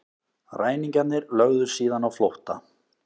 Ræningjarnir lögðu síðan á flótta